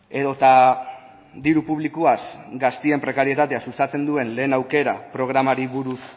edota diru publikoaz gazteen prekarietatea sustatzen duen lehen aukera programari buruz